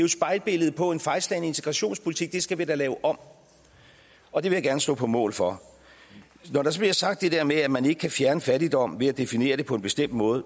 et spejlbillede på en fejlslagen integrationspolitik det skal vi da lave om og det vil jeg gerne stå på mål for når der så bliver sagt det der med at man ikke kan fjerne fattigdom ved at definere den på en bestemt måde